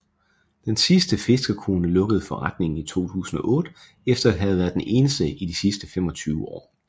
Den sidste fiskerkone lukkede forretningen i 2008 efter at have været den eneste de sidste 25 år